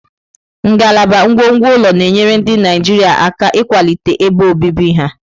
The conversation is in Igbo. Ngalaba ngwongwo ụlọ na-enyere ndị Naijiria aka ịkwalite ebe obibi ha.